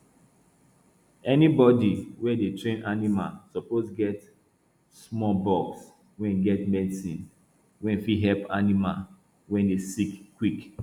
anybody wey dey train animal suppose get small box wey get medicine wey fit help animal wey dey sick quick